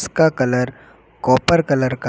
का colour copper colour का--